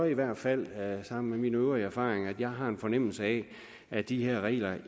i hvert fald sammen med mine øvrige erfaringer gør at jeg har en fornemmelse af at de her regler